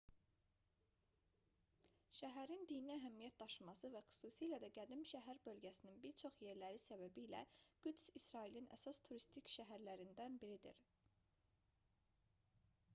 şəhərin dini əhəmiyyət daşıması və xüsusilə də qədim şəhər bölgəsinin bir çox yerləri səbəbilə qüds i̇srailin əsas turistik şəhərlərindən biridir